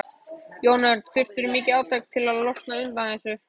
Jón Örn: Þurftirðu mikið átak til að losna undan þessu?